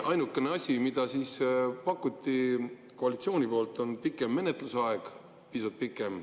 Ainukene asi, mida pakuti koalitsiooni poolt, oli pikem menetlusaeg, pisut pikem.